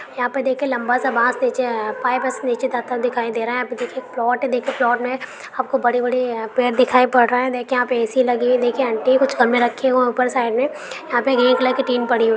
यहां पर देखिए एक लम्बा सा बास निचे पाईप निचे जाता दिखाय दे रहा है अभी देखिए प्लोट प्लोट में आप को बड़े बड़े पेड़ दिखाय पड़ रहे है दिखिए यहां पे ऐ_सी लगी है देखिये आंटी हैकुछ खभे रखे हुए है ऊपर साईड यहां पे रेड कलर की टीन पड़ी हुई है।